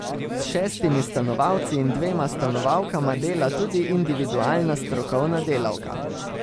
S šestimi stanovalci in dvema stanovalkama dela tudi individualna strokovna delavka.